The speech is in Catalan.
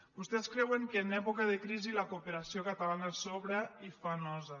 vostès creuen que en època de crisi la cooperació catalana sobra i fa nosa